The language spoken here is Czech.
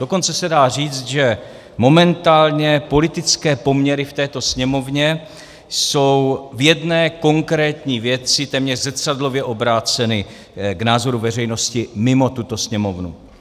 Dokonce se dá říct, že momentálně politické poměry v této Sněmovně jsou v jedné konkrétní věci téměř zrcadlově obráceny k názoru veřejnosti mimo tuto Sněmovnu.